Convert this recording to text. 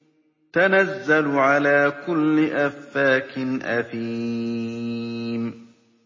تَنَزَّلُ عَلَىٰ كُلِّ أَفَّاكٍ أَثِيمٍ